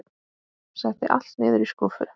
Setti allt niður í skúffu.